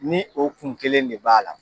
Ni o kun kelen de b'a la